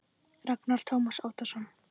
Ragnar Tómas Árnason